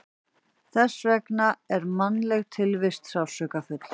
Þess vegna er mannleg tilvist sársaukafull.